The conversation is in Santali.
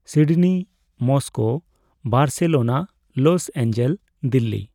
Sydney, Moscow, Barcelona, Los Angeles, Delhi